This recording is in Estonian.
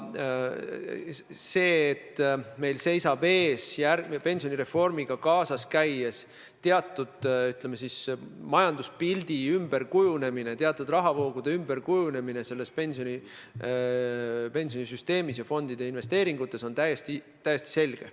See, et meil seisab pensionireformi ellu viies ees teatud, ütleme siis, majanduspildi ümberkujunemine, teatud rahavoogude ümberkujunemine kogu pensionisüsteemis ja fondide investeeringutes, on täiesti selge.